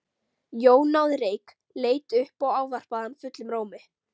Jón náði reyk, leit upp og ávarpaði hann fullum rómi.